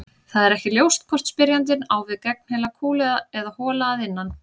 Það er ekki ljóst hvort spyrjandinn á við gegnheila kúlu eða hola að innan.